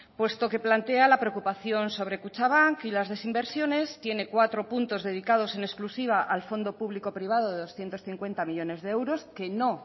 puesto que plantea la preocupación sobre kutxabank y las desinversiones tiene cuatro puntos dedicados en exclusiva al fondo público privado de doscientos cincuenta millónes de euros que no